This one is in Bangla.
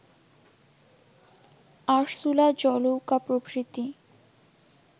আরসুলা জলৌকা প্রভৃতি